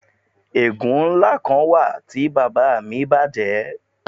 Egun nla kan wa ti baba mi baje